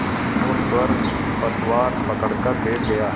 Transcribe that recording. और स्वयं पतवार पकड़कर बैठ गया